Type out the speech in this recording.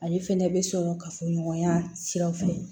Ale fɛnɛ bɛ sɔrɔ ka fɔ ɲɔgɔnya siraw fɛ